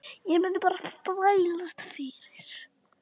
Ég mundi bara þvælast fyrir.